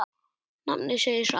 Nafnið segir allt.